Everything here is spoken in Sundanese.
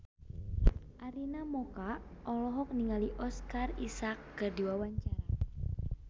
Arina Mocca olohok ningali Oscar Isaac keur diwawancara